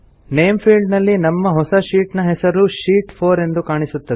name field ನಲ್ಲಿ ನಮ್ಮ ಹೊಸ ಶೀಟ್ ನ ಹೆಸರು ಶೀಟ್ 4 ಎಂದು ಕಾಣಿಸುತ್ತದೆ